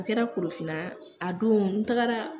A kɛra Korofina, a don n tagra.